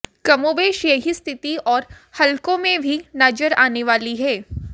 कमोबेश यही स्थिति और हलकों में भी नजर आने वाली है